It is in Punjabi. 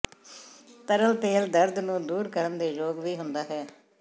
ਤਰਲ ਤੇਲ ਦਰਦ ਨੂੰ ਦੂਰ ਕਰਨ ਦੇ ਯੋਗ ਵੀ ਹੁੰਦਾ ਹੈ